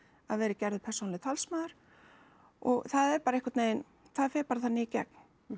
að verði gerður persónulegur talsmaður og það er bara einhvern veginn það fer bara þannig í gegn